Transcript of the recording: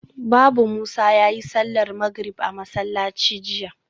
Babu Musa yayi sallar magrib a masallaci jiya